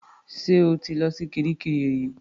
Ṣé o ti lọ kiríkirì rí?